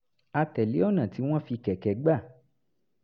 a tẹ̀lé ọ̀nà tí wọ́n fi kẹ̀kẹ́ gbà